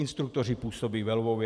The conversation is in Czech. Instruktoři působí ve Lvově.